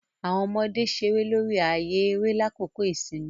Awọn ọmọde ṣere lori ààyè eré lakoko ìsinmi.